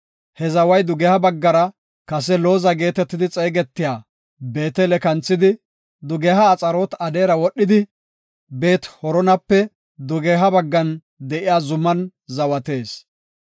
He zaway dugeha baggara kase Looza geetetidi xeegetiya Beetele kanthidi, dugeha Axaroot-Adaare wodhidi, Beet-Horonape dugeha baggan de7iya zuman zawatees.